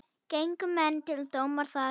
Gengu menn til dóma þar.